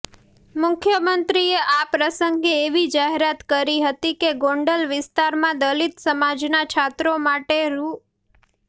મુખ્યમંત્રીએ આ પ્રસંગે એવી જાહેરાત કરી હતી કે ગોંડલ વિસ્તારમાં દલિત સમાજના છાત્રો માટે રૂ